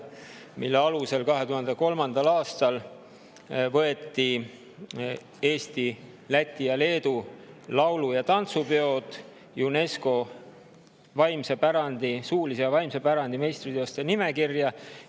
Selle pöördumise alusel Eesti, Läti ja Leedu laulu‑ ja tantsupeod 2003. aastal UNESCO suulise ja vaimse pärandi meistriteoste nimekirja.